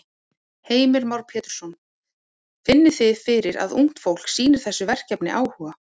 Heimir Már Pétursson: Finnið þið fyrir að ungt fólk sýnir þessu verkefni áhuga?